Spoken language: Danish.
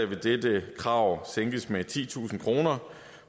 vil dette krav sænkes med titusind kr